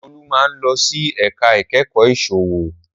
Olú máa ń lọ sí ẹ̀ka ìkẹ́kọ̀ọ́ ìsòwò